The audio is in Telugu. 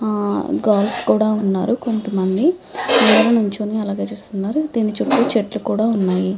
ఆ గర్ల్స్ కూడా ఉన్నారు కొంత మంది. అందరూ నించొనే నిల్చొని అలాగే చూస్తున్నారు. దీని చుట్టూ చెట్లు కూడా ఉన్నాయి.